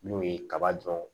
N'o ye kaba dɔn